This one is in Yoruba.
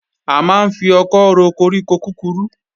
A máa ń fi ọkọ́ ro koríko kúkurú